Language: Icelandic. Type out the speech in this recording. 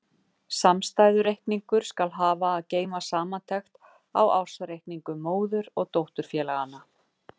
Samstæðureikningur skal hafa að geyma samantekt á ársreikningum móður- og dótturfélaganna.